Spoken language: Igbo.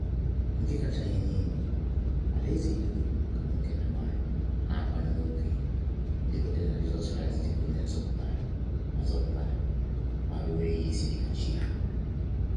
Nke kacha ihe niile, alaeze eluigwe bụ maka nwoke na nwaanyị nakwa ndị okenye ndị kwetere na Jizọs Kraịst dịka onye nzọpụta ha ma nzọpụta ha ma ruwere Ya isi dịka Chi ha.